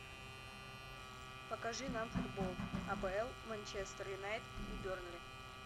покажи нам футбол апл манчестер юнайтед и бернли